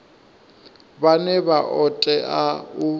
vhane vha o tea u